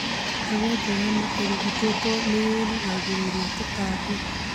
Mbega njega na irigitĩtwo nĩirigagĩrĩria tũtambi